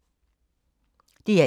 DR1